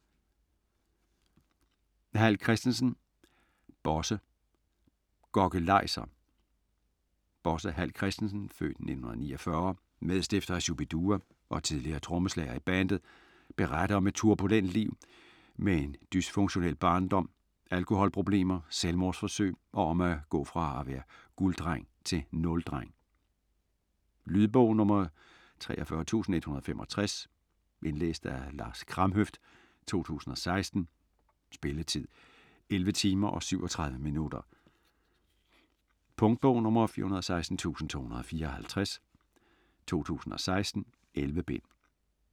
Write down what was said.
Hall Christensen, Bosse: Gokkelajser Bosse Hall Christensen (f. 1949), medstifter af Shu-bi-dua og tidligere trommeslager i bandet, beretter om et turbulent liv med en dysfunktionel barndom, alkoholproblemer, selvmordsforsøg og om at gå fra at være gulddreng til nuldreng. Lydbog 43165 Indlæst af Lars Kramhøft, 2016. Spilletid: 11 timer, 37 minutter. Punktbog 416254 2016. 11 bind.